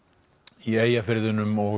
í Eyjafirðinum og